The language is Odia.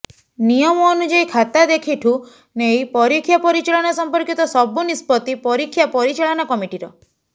ନିୟମ ଅନୁଯାୟୀ ଖାତା ଦେଖିଠୁ ନେଇ ପରୀକ୍ଷା ପରିଚାଳନା ସଂପର୍କିତ ସବୁ ନିଷ୍ପତ୍ତି ପରୀକ୍ଷା ପରିଚାଳନା କମିଟିର